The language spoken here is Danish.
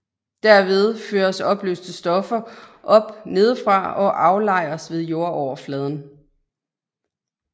Derved føres opløste stoffer op nedefra og aflejres ved jordoverfladen